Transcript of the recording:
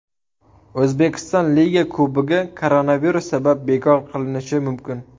O‘zbekiston Liga Kubogi koronavirus sabab bekor qilinishi mumkin !